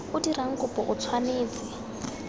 o dirang kopo o tshwanetse